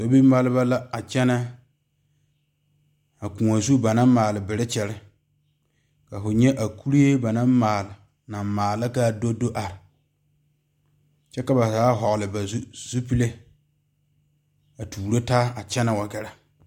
Sobie maale ba la a kyɛne a kõɔ zu banaŋ maale berkyɛre ka fo nyɛ a kuri ba naŋ maale kaa do do are kyɛ ka ba zaa vɔgle ba zupele a tuuro taa a kyɛne wa gare.